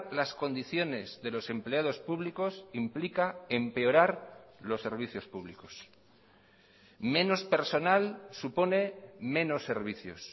las condiciones de los empleados públicos implica empeorar los servicios públicos menos personal supone menos servicios